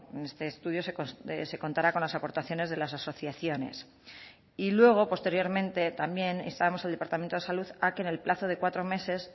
en este estudio se contara con las aportaciones de las asociaciones y luego posteriormente también instábamos al departamento de salud a que en el plazo de cuatro meses